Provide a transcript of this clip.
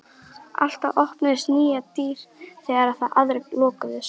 Alltaf opnuðust nýjar dyr þegar aðrar lokuðust.